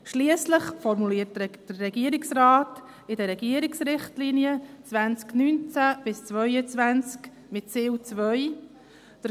Schliesslich formuliert der Regierungsrat in den Regierungsrichtlinien 2019–2022 mit Ziel 2: «